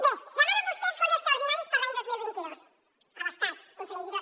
bé demanen vostès fons extraordinaris per a l’any dos mil vint dos a l’estat conseller giró